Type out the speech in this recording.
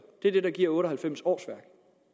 det er det der giver otte og halvfems årsværk